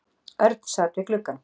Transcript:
Örn sat við gluggann.